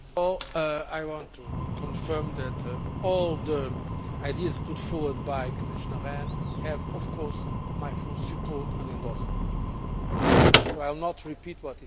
I want to confirm that all the ideas put forward by Commissioner Rehn have my full support and endorsement, so I will not repeat what he said.